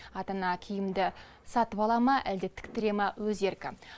ата ана киімді сатып ала ма әлде тіктіре ме өз еркі